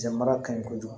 Jama kaɲi kojugu